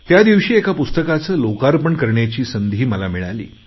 त्या दिवशी एका पुस्तकाचे लोकार्पण करण्याची संधी मला मिळाली